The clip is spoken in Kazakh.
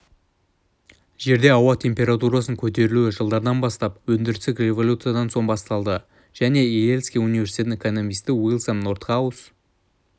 жерде ауа температурасының көтерілуі жылдардан бастап өндірістік революциядан соң басталды жылы йельский университеттің экономисті уильям нордхаус